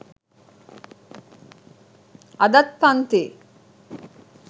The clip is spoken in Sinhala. අදත් පන්ති